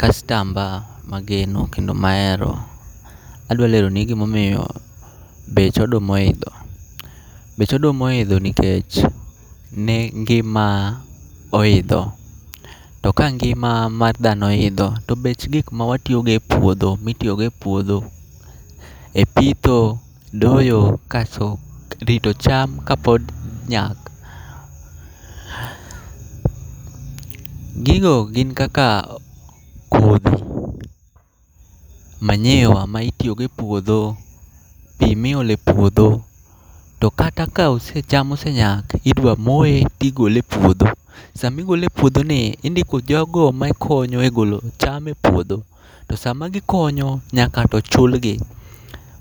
Kastamba mageno kendo maero: adwa leroni gimomiyo bech oduma oidho. Bech oduma oidho nikech ni ngima oidho, to ka ngima mar dhano oidho to bech gik mawatiyogo e puodho mitiyogo e puodho. E pitho, doyo, kaso rito cham ka pod nyak. Gigo gin kaka kodhi, manyiwa ma itiyogo e puodho, pi miole puodho. To kata ka ose cham osenyak, idwa moe tigole e puodho. Samigole e puodho ni, indiko jogo ma konyo e golo cham e puodho? To sama gikonyo, nyaka to chulgi.